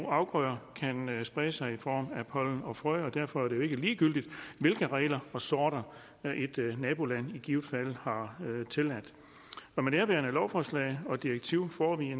afgrøder kan sprede sig i form af pollen og frø og derfor er det jo ikke ligegyldigt hvilke regler og sorter et naboland i givet fald har tilladt med nærværende lovforslag og direktiv får vi